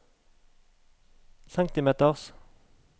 centimeters